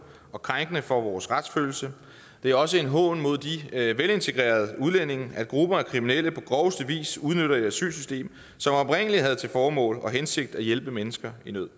og krænkende for vores retsfølelse det er også en hån mod de velintegrerede udlændinge at grupper af kriminelle på groveste vis udnytter et asylsystem som oprindelig havde til formål og hensigt at hjælpe mennesker i nød